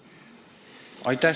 Aitäh!